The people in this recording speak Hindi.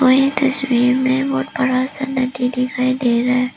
यह तस्वीर में बहोत बड़ा सा नदी दिखाई दे रहा है।